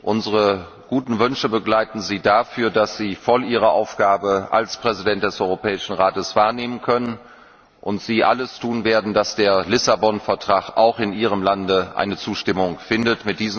Unsere guten Wünsche begleiten Sie dafür, dass Sie Ihre Aufgabe als Präsident des Europäischen Rates voll wahrnehmen können und Sie alles tun werden, dass der Lissabon Vertrag auch in Ihrem Land Zustimmung findet.